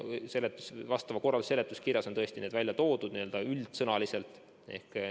Kõnealuse korralduse seletuskirjas on need tõesti üldsõnaliselt välja toodud.